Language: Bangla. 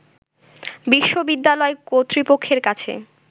বিশ্ববিদালয় কর্তৃপক্ষের কাছে